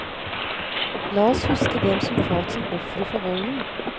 La oss huske dem som falt som ofre for volden.